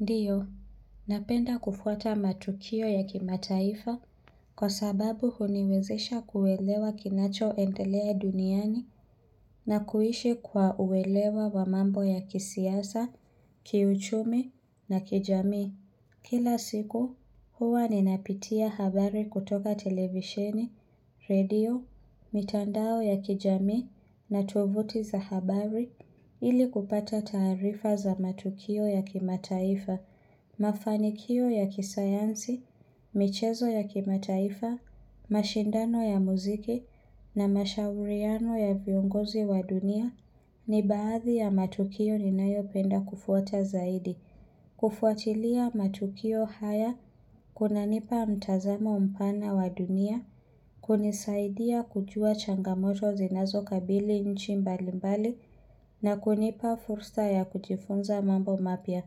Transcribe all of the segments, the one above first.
Ndiyo, napenda kufuata matukio ya kimataifa kwa sababu huniwezisha kuelewa kinacho endelea duniani na kuishi kwa uelewa wamambo ya kisiasa, kiuchumi na kijamii. Kila siku huwa ni napitia habari kutoka televisheni, radio, mitandao ya kijamii na tuvuti za habari ili kupata taarifa za matukio ya kimataifa, mafanikio ya kisayansi, michezo ya kimataifa, mashindano ya muziki na mashauriano ya viongozi wa dunia ni baathi ya matukio ni nayo penda kufuata zaidi. Kufuatilia matukio haya, kunanipa mtazamo mpana wa dunia, kunisaidia kujua changamoto zinazo kabili inchi mbalimbali na kunipa fursa ya kujifunza mambo mapia.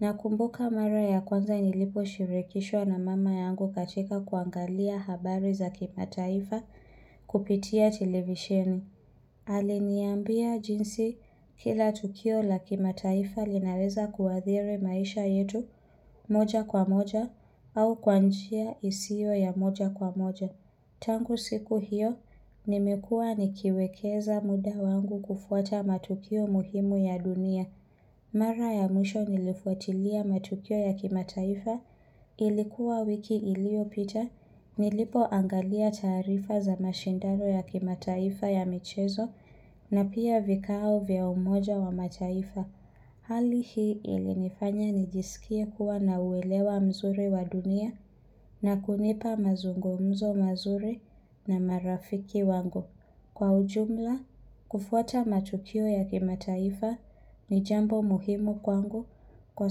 Na kumbuka mara ya kwanza nilipo shirikishwa na mama yangu katika kuangalia habari za kimataifa kupitia televisheni. Aliniambia jinsi kila tukio la kimataifa linaweza kuadhiri maisha yetu moja kwa moja au kwanjia isio ya moja kwa moja. Tangu siku hiyo nimekua nikiwekeza muda wangu kufuata matukio muhimu ya dunia. Mara ya mwisho nilifuatilia matukio ya kimataifa ilikuwa wiki ilio pita. Nilipo angalia taarifa za mashindano ya kimataifa ya michezo na pia vikao vya umoja wa mataifa. Hali hii ili nifanya nijisikie kuwa na uelewa mzuri wa dunia na kunipa mazungumzo mazuri na marafiki wangu. Kwa ujumla, kufuata matukio ya kimataifa ni jambo muhimu kwangu kwa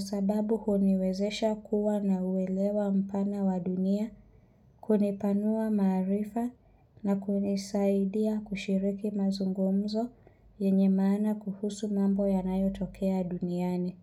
sababu huniwezesha kuwa na uwelewa mpana wa dunia kunipanua maarifa na kunisaidia kushiriki mazungumzo yenye maana kuhusu mambo yanayo tokea duniani.